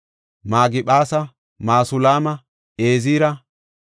Magiphaasa, Masulaama, Ezira,